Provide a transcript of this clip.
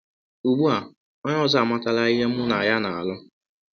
Ugbu a, ọnye ọzọ amatala ihe mụ na ya na - alụ.